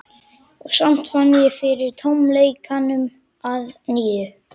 Og samt fann ég fyrir tómleikanum að nýju.